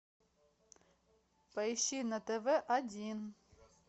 поищи на тв один